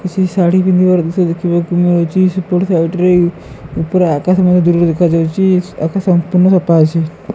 କିସି ଶାଢୀ ପିନ୍ଧିବାର ଦୃଶ୍ୟ ଦେଖିବାକୁ ମିଳୁଚି ସେପଟ ସାଇଡ଼ ରେ ଉପରେ ଆକାଶ ମଧ୍ୟ ଦୂରରେ ଦେଖାଯାଉଛି ଆକାଶ ସମ୍ପୂର୍ଣ ସଫା ଅଛି।